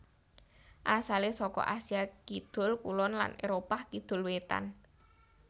Asalé saka Asia kidul kulon lan Éropah kidul wétan